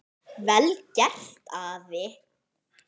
Vel gert, afi.